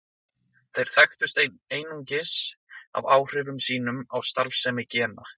Þeir þekktust einungis af áhrifum sínum á starfsemi gena.